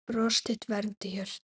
Bros þitt vermdi hjörtu.